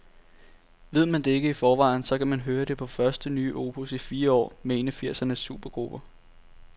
Ved man ikke det i forvejen, så kan man høre det på det første nye opus i fire år med en af firsernes supergrupper.